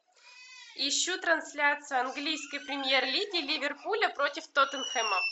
ищу трансляцию английской премьер лиги ливерпуля против тоттенхэма